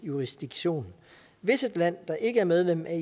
jurisdiktion hvis et land der ikke er medlem af